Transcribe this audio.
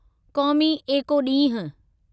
क़ौमी एको ॾींहुं